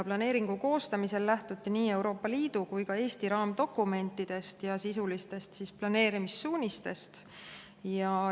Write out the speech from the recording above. Planeeringu koostamisel lähtuti nii Euroopa Liidu kui ka Eesti raamdokumentidest ja sisulistest planeerimissuunistest.